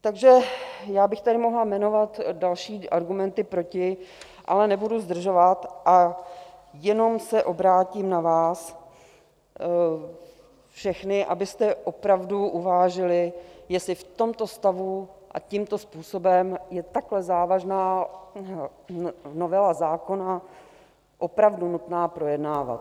Takže já bych tady mohla jmenovat další argumenty proti, ale nebudu zdržovat a jenom se obrátím na vás všechny, abyste opravdu uvážili, jestli v tomto stavu a tímto způsobem je takhle závažnou novelu zákona opravdu nutné projednávat.